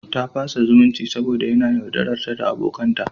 Ta fasa zumunci saboda yana yaudararta da abokanta.